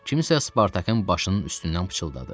Kimsə Spartakın başının üstündən pıçıldadı.